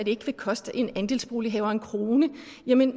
ikke vil koste en andelsbolighaver en krone